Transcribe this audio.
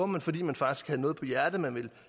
man fordi man faktisk havde noget på hjerte man ville